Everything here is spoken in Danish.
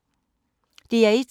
DR1